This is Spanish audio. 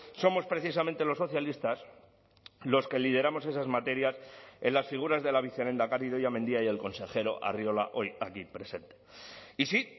somos precisamente los socialistas los que lideramos esas materias en las figuras de la vicelehendakari idoia mendia y el consejero arriola hoy aquí presente y sí